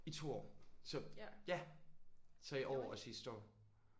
I 2 år så ja. Så i år og sidste år?